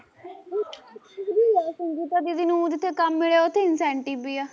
ਦੀਦੀ ਨੂੰ ਜਿੱਥੇ ਕੰਮ ਮਿਲਿਆ ਉੱਥੇ incentive ਵੀ ਆ